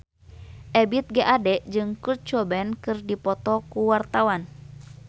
Ebith G. Ade jeung Kurt Cobain keur dipoto ku wartawan